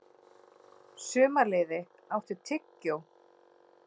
Sumarliði, áttu tyggjó?